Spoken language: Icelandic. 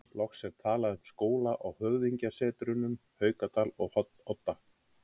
Loks er talað um skóla á höfðingjasetrunum Haukadal og Odda.